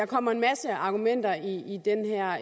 kommer en masse argumenter i den